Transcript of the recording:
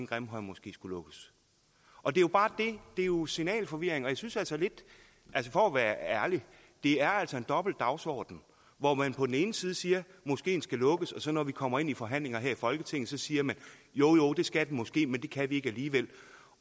grimhøjmoskeen skulle lukkes og det er jo bare det det er jo signalforvirring og jeg synes altså lidt for at være ærlig at det er en dobbelt dagsorden hvor man på den ene side siger at moskeen skal lukkes og så når vi kommer ind til forhandlinger her i folketinget så siger man jo jo det skal den måske men det kan vi ikke alligevel